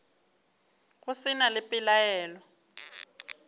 go se na le pelaelo